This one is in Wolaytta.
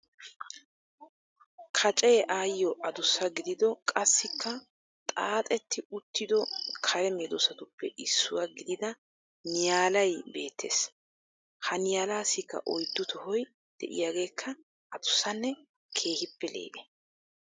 Kaacee ayyoo adussa gidido qassikka xaaxetti uttido kare medoosatuppe issuwa gidida niyaalay beettees. Ha niyalaassikka oyddu tohoy de'iyaageekka addussanne keehippe lee"e.